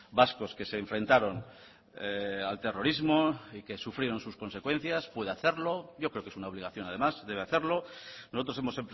vascos que se enfrentaron al terrorismo y que sufrieron sus consecuencias puede hacerlo yo creo que es una obligación además debe hacerlo nosotros hemos